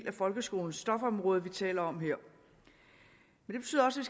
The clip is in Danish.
af folkeskolens stofområde vi taler om her det betyder også